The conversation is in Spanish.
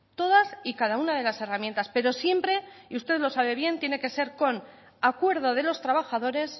todas y cada una de las herramientas pero siempre y usted lo sabe bien tiene que ser con acuerdo de los trabajadores